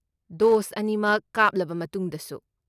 Dose ꯑꯅꯤꯃꯛ ꯀꯥꯞꯂꯕ ꯃꯇꯨꯡꯗꯁꯨ?